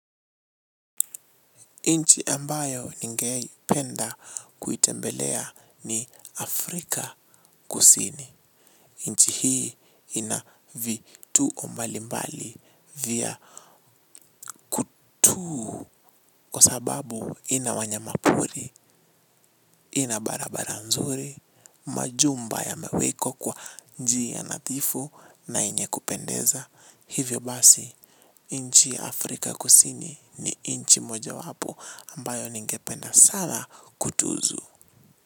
Nchi ambayo ningependa kuitembelea ni Afrika kusini. Nchi hii ina vituo mbali mbali vya kwasababu ina wanyamapori, ina barabara nzuri, majumba yamewekwa kwa njia nadhifu na yenye kupendeza. Hivyo basi, nchi ya afrika kusini ni nchi mojawapo ambayo ningependa sana kutuzu.